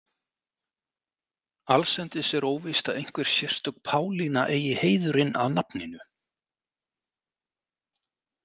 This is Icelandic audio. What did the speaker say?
Allsendis er óvíst að einhver sérstök Pálína eigi heiðurinn að nafninu.